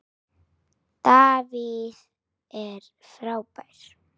David er frábær.